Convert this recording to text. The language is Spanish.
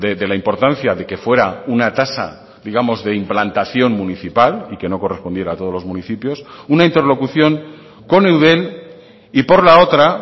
de la importancia de que fuera una tasa digamos de implantación municipal y que no correspondiera a todos los municipios una interlocución con eudel y por la otra